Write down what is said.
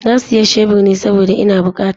Na siya shebur ne saboda ina bukata.